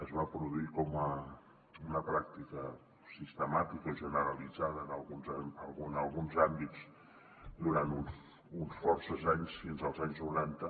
es va produir com una pràctica sistemàtica o generalitzada en alguns àmbits durant forces anys fins als anys noranta